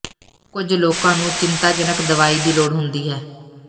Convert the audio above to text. ਕੁਝ ਲੋਕਾਂ ਨੂੰ ਚਿੰਤਾਜਨਕ ਦਵਾਈ ਦੀ ਲੋੜ ਹੁੰਦੀ ਹੈ